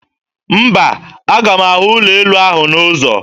Mba, aga m ahụ ụlọelu ahụ n'ụzọ